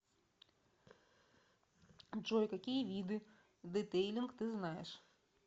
джой какие виды детейлинг ты знаешь